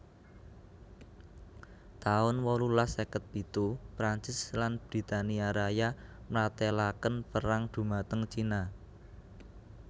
taun wolulas seket pitu Prancis lan Britania Raya mratélakaen perang dhumateng Cina